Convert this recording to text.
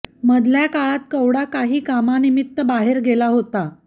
मधल्या काळात कवडा काही कामानिम्मित बाहेर गेला होता